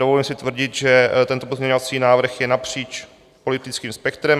Dovolím si tvrdit, že tento pozměňovací návrh je napříč politickým spektrem.